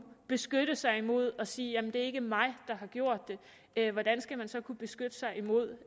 beskytte sig imod det og sige det er ikke mig der har gjort det hvordan skal man så kunne beskytte sig imod